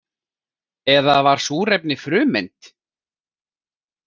Eða var súrefni frumeind?